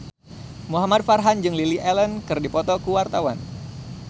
Muhamad Farhan jeung Lily Allen keur dipoto ku wartawan